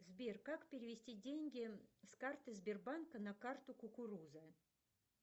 сбер как перевести деньги с карты сбербанка на карту кукуруза